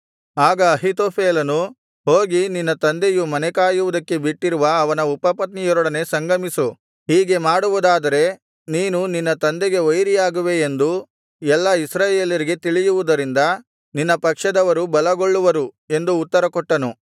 ಆಗ ಅಹೀತೋಫೆಲನು ಹೋಗಿ ನಿನ್ನ ತಂದೆಯು ಮನೆಕಾಯುವುದಕ್ಕೆ ಬಿಟ್ಟಿರುವ ಅವನ ಉಪಪತ್ನಿಯರೊಡನೆ ಸಂಗಮಿಸು ಹೀಗೆ ಮಾಡುವುದಾದರೆ ನೀನು ನಿನ್ನ ತಂದೆಗೆ ವೈರಿಯಾಗುವೆ ಎಂದು ಎಲ್ಲಾ ಇಸ್ರಾಯೇಲ್ಯರಿಗೆ ತಿಳಿಯುವುದರಿಂದ ನಿನ್ನ ಪಕ್ಷದವರು ಬಲಗೊಳ್ಳುವರು ಎಂದು ಉತ್ತರ ಕೊಟ್ಟನು